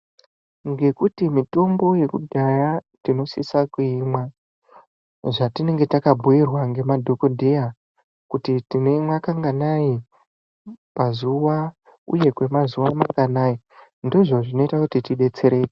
Ngekuti mitombo yekudhaya tinosisa kuimwa zvatinenge takabhuyirwa nemadhokoteya kuti tinoimwa kanganayi pazuva uye kwemazuva manganai ndizvo zvinoita kuti tidedetsereke.